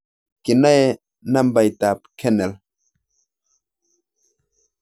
Kinae nambaitab kernel